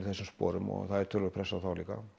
þessum sporum og töluverð pressa á þá líka